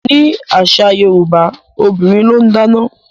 Ní àṣà yorúbá obìrin lón dáná.